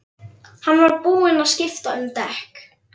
Hann var búinn að skipta um dekk.